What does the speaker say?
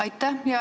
Aitäh!